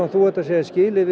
þú ert að segja skilið við